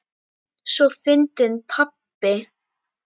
Svo fyndinn pabbi!